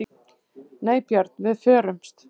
Nei Björn, við förumst.